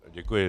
Děkuji.